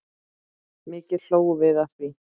Mikið hlógum við að því.